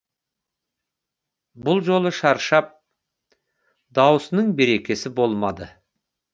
бұл жолы шаршап даусының берекесі болмады